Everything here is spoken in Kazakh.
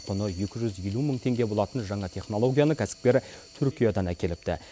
құны екі жүз елу мың теңге болатын жаңа технологияны кәсіпкер түркиядан әкеліпті